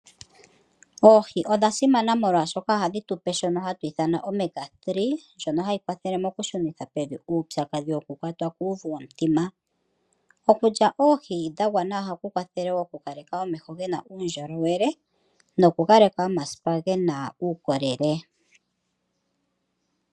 Oohi odha simana molwashoka ohadhi tupe shono hatu ithana omega 3 ndjoka hayi kwathele oku shunitha peni uupyakadhi woku kwatwa kuuvu womutima. Okulya oohi dha gwana ohaku kwathele oku kaleka omeho ga kale ge na uundjolowele noku kaleka omasipa ge na uukolele.